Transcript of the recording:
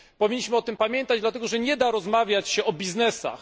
Powinniśmy o tym pamiętać, dlatego, że nie da się rozmawiać o biznesach.